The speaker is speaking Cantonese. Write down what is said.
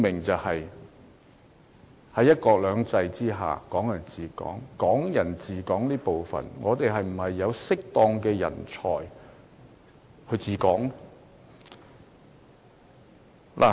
就是在"一國兩制"之下"港人治港"，對於"港人治港"這部分，我們是否有適當人才"治港"？